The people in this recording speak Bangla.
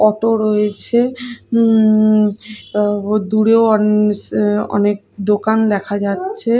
অটো রয়েছে উঁ দূরেও অনস অনেক দোকান দেখা যাচ্ছে।